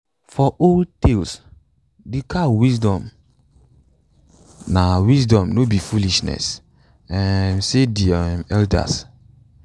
for old tales de cow wisdom na wisdom no be foolishness um say de um elders